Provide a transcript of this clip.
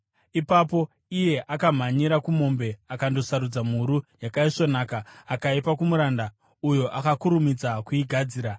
Ipapo iye akamhanyira kumombe akandosarudza mhuru yakaisvonaka, akaipa kumuranda, uyo akakurumidza kuigadzira.